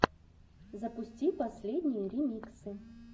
запусти последние ремиксы